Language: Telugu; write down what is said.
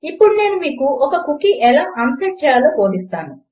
ఇప్పుడు నేను మీకు ఒక కుకీ ఎలా únset చేయాలో బోధిస్తాను